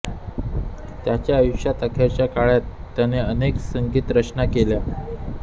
त्याच्या आयुष्याच्या अखेरच्या काळात त्याने अनेक संगीतरचना केल्या